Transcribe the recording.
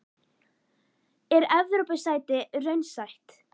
Er Evrópusæti raunsætt?